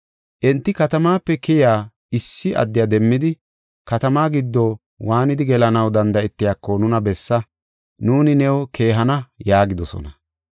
Enti katamaape keyiya issi addiya demmidi, “Katamaa giddo waanidi gelanaw danda7etiyako nuna bessa; nuuni new keehana” yaagidosona.